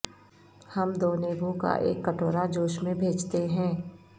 ہم دو نیبو کا ایک کٹورا جوش میں بھیجتے ہیں